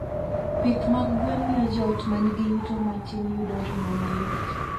Pith mag gwen miyo joot ma nigi yuto matin yudo ring'o mayot.